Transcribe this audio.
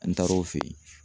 An taara o fe yen